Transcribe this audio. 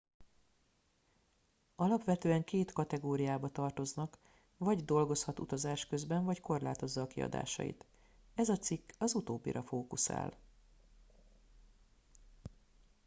alapvetően két kategóriába tartoznak vagy dolgozhat utazás közben vagy korlátozza a kiadásait ez a cikk az utóbbira fókuszál